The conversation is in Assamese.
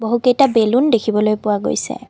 বহুকেইটা বেলুন দেখিবলৈ পোৱা গৈছে।